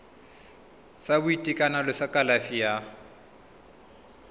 sa boitekanelo sa kalafi ya